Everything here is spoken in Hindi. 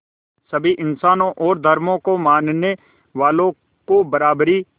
सभी इंसानों और धर्मों को मानने वालों को बराबरी